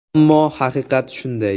Ammo haqiqat shunday.